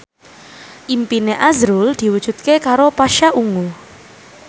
impine azrul diwujudke karo Pasha Ungu